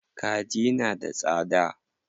Kaji na da tsada.